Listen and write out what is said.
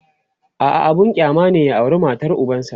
a'a abun kyama ne ya aura matar ubansa